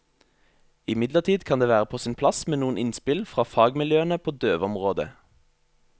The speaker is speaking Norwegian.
Imidlertid kan det være på sin plass med noen innspill fra fagmiljøene på døveområdet.